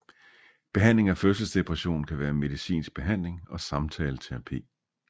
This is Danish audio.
Behandling af fødselsdepression kan være medicinsk behandling og samtaleterapi